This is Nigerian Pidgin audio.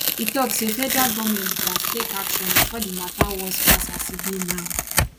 e tok say federal goment gatz take action bifor di mata worse pass as e be now